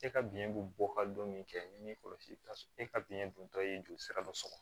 E ka biyɛn bɛ bɔ ka don min kɛ min kɔlɔsi ka e ka biyɛn dontɔ ye joli sira dɔ sɔrɔ